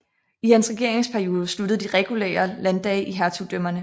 I hans regeringsperiode sluttede de regulære landdage i hertugdømmerne